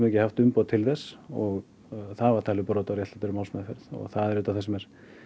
ekki haft umboð til þess og það var talið brot á réttlátri málsmeðferð og það er auðvitað það sem